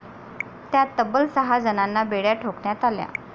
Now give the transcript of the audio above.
त्यात तब्बल सहा जणांना बेड्या ठोकण्यात आल्या.